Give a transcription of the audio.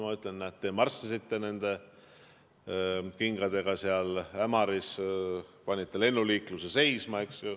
Mina ütlen, et näed, teie marssisite nende kingadega Ämaris, panite lennuliikluse seisma.